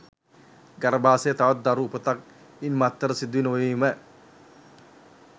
ගර්භාෂයේ තවත් දරු උපතක් ඉන් මත්තට සිදු නොවීම